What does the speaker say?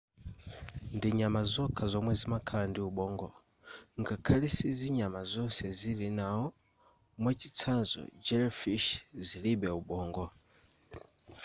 ndinyama zokha zomwe zimakhala ndi ubongo ngakhale sinyama zonse zili nawo; mwachitsanzo jellyfish zilibe ubongo